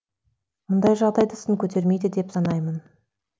мұндай жағдайды сын көтермейді деп санаймын